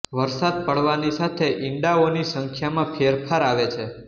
વરસાદ પડવાની સાથે ઇંડાઓની સંખ્યામાં ફેરફાર આવે છે